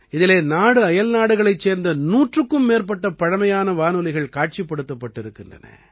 இதிலே நாடுஅயல்நாடுகளைச் சேர்ந்த 100க்கும் மேற்பட்ட பழைமையான வானொலிகள் காட்சிப்படுத்தப்பட்டிருக்கின்றன